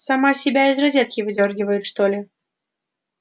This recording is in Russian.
сама себя из розетки выдёргивает что ли